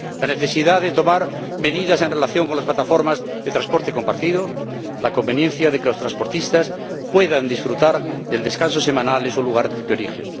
la necesidad de tomar medidas en relación con las plataformas de transporte compartido la conveniencia de que los transportistas puedan disfrutar del descanso semanal en su lugar origen